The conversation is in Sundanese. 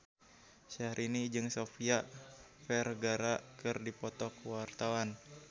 Syahrini jeung Sofia Vergara keur dipoto ku wartawan